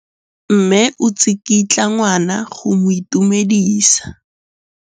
Mme o tsikitla ngwana go mo itumedisa.